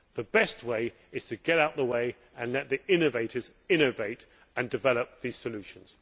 The best way is to get out of the way and let the innovators innovate and develop the solutions.